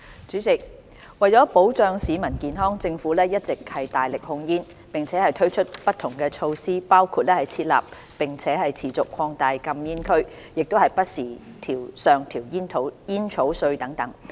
主席，為保障市民健康，政府一直大力控煙，並推出不同措施，包括設立並持續擴大禁煙區、不時上調煙稅等。